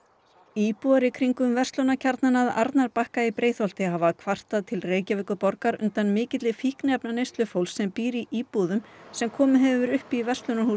íbúar í kringum verslunarkjarnann að Arnarbakka í Breiðholti hafa kvartað til Reykjavíkurborgar undan mikilli fíkniefnaneyslu fólks sem býr í íbúðum sem komið hefur verið upp í